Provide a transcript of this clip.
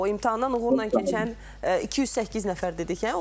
O imtahandan uğurla keçən 208 nəfər dedik hə?